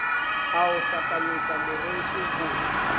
a o hlapanyetsa moreso ho